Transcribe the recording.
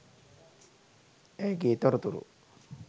ඇයගේ තොරතුරු